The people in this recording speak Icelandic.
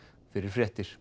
fyrir fréttir